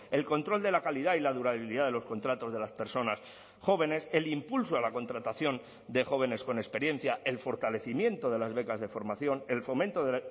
el control de la calidad y la durabilidad de los contratos de las personas jóvenes el impulso a la contratación de jóvenes con experiencia el fortalecimiento de las becas de formación el fomento de